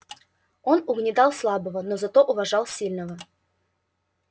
он угнетал слабого но зато уважал сильного